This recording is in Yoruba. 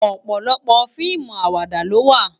Òpòlòpò fiimú àwàdá ló wá